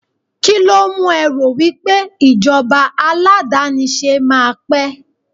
kilo mu e ro wipe ijoba aladanise ma pe